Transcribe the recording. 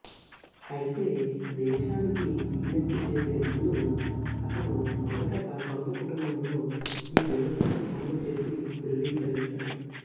అయితే దేశానికి విజ్ఞప్తి చేసే ముందు అతను మొదట తన సొంత కుటుంబంలో ఈ వ్యవస్థను అమలు చేసి ధృవీకరించాడు